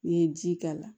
N'i ye ji k'a la